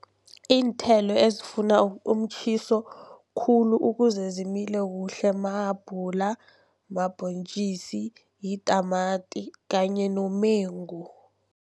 Iinthelo ezifuna umtjhiso khulu ukuze zimile kuhle mahabhula, mabhontjisi, yitamati kanye nomengu.